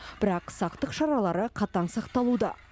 бірақ сақтық шаралары қатаң сақталуда